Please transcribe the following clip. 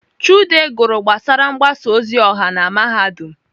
Chude gụrụ gbasara mgbasa ozi ọha na Mahadum.